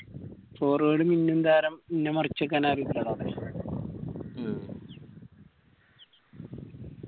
forward മിന്നും താരം ഇന്ന മറിച്ച്‌ നിക്കാൻ ആരെങ്കിലും ഇണ്ടാ അവിടെ